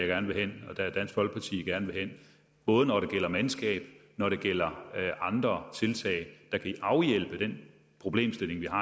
gerne vil hen både når det gælder mandskab og når det gælder andre tiltag der kan afhjælpe den problemstilling vi har